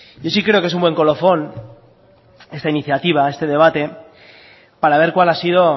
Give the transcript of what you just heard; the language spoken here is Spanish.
y sí creo que es un buen colofón esta iniciativa este debate para ver cuál ha sido